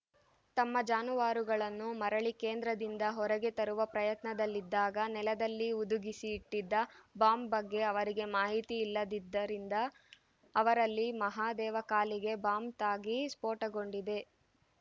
ತಮ್ಮ ಜಾನುವಾರುಗಳನ್ನು ಮರಳಿ ಕೇಂದ್ರದಿಂದ ಹೊರಗೆ ತರುವ ಪ್ರಯತ್ನದಲ್ಲಿದ್ದಾಗ ನೆಲದಲ್ಲಿ ಹುದುಗಿಸಿ ಇಟ್ಟಿದ್ದ ಬಾಂಬ್‌ ಬಗ್ಗೆ ಅವರಿಗೆ ಮಾಹಿತಿ ಇಲ್ಲದ್ದಿರಿಂದ ಅವರಲ್ಲಿ ಮಹಾದೇವ ಕಾಲಿಗೆ ಬಾಂಬ್‌ ತಾಗಿ ಸ್ಫೋಟಗೊಂಡಿದೆ